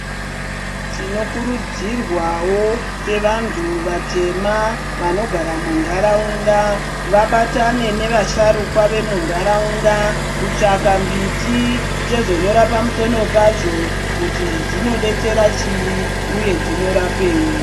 Tinokurudzirwawo sevantu vema vanogara mundaraunda vabatane nevasharukwa vemundaraunda kutsvaka Mbiti tozonyora pamusono pazvo kuti zvinodetsera chii uye zvinorapei.